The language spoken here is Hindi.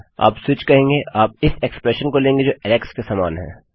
आप स्विच कहेंगे आप इस इक्स्प्रेशन को लेंगे जो ऐलेक्स के समान है